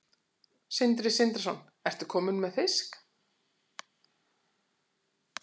Sindri Sindrason: Ertu kominn með fisk?